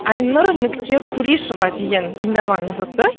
айнұр нүкте кулишова деген тыңдарманымыз ұтты